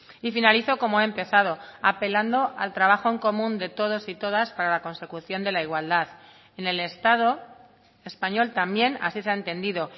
y finalizo como he empezado apelando al trabajo en común de todos y todas para la consecución de la igualdad en el estado español también así se ha entendido